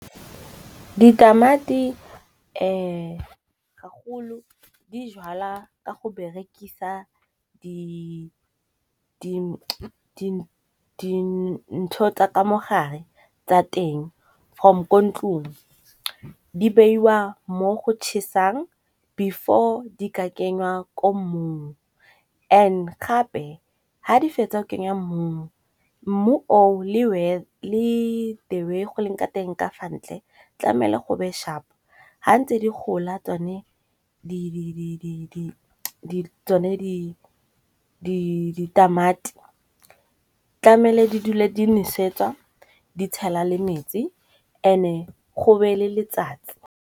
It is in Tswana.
Ditamati ga golo di jalwa ka go berekisa dintho tsa ka mogare tsa teng from ko ntlong. Di beiwa mo go chesang before di ka kenywa ko mmung and gape ga di fetsa o kenya mmung, mmu o le the way go leng ka teng ka fa ntle, tlamele go be shap. ha ntse di gola tsone di ditamati tlamele di dule di nosetswa, di tshela le metsi and-e go be le letsatsi.